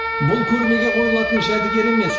бұл көрмеге қойылатын жәдігер емес